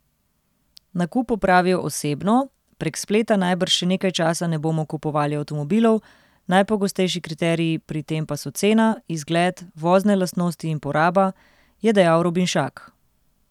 Nakup opravijo osebno, prek spleta najbrž še nekaj časa ne bomo kupovali avtomobilov, najpogostejši kriteriji pri tem pa so cena, izgled, vozne lastnosti in poraba, je dejal Robinšak.